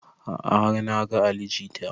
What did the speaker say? A'a har na ga ali jita